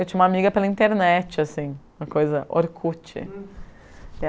Eu tinha uma amiga pela internet, assim, uma coisa, Orkut.